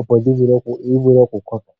opo yivule okukoka.